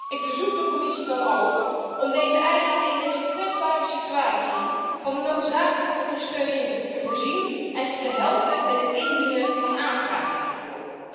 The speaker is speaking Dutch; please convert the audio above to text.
Ik verzoek de Commissie dan ook om deze eilanden in deze kwetsbare situatie van de noodzakelijke ondersteuning te voorzien en ze te helpen met het indienen van aanvragen hiervoor.